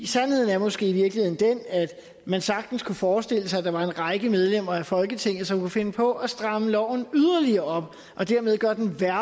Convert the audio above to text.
sandheden er måske i virkeligheden den at man sagtens kunne forestille sig at der var en række medlemmer af folketinget som kunne finde på at stramme loven yderligere op og dermed gøre den værre